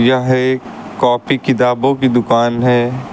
यह एक कॉपी किताबों की दुकान है।